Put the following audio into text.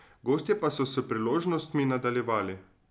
Gostje pa so s priložnostmi nadaljevali.